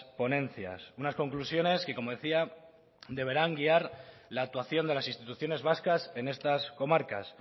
ponencias unas conclusiones que como decía deberán guiar la actuación de las instituciones vascas en estas comarcas